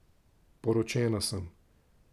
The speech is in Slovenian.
Poročena sem.